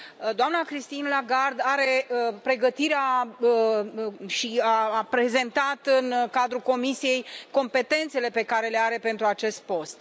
Doamna Christine Lagarde are pregătirea necesară și a prezentat în cadrul comisiei competențele pe care le deține pentru acest post.